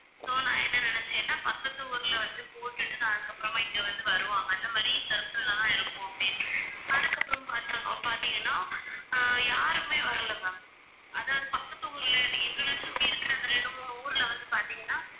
so நான் என்ன நினைச்சேன்னா பக்கத்து ஊர்ல வந்து போட்டுட்டு தான் அதுக்கப்புறமா இங்க வந்து வருவாங்க அந்த மாதிரி circle லதான் இருப்போம் அப்படின்னு அதுக்கப்புறம் பார்த்தாங்க~ பார்த்தீங்கன்னா அஹ் யாருமே வரலை ma'am அதாவது பக்கத்து ஊர்ல எங்களைச் சுற்றி இருக்கிற அந்த இரண்டு, மூணு ஊர்ல வந்து பார்த்தீங்கன்னா